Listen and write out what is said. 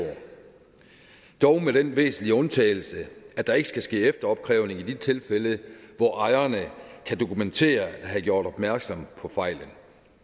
dog med den væsentlige undtagelse at der ikke skal ske efteropkrævning i de tilfælde hvor ejerne kan dokumentere at have gjort opmærksom på fejlen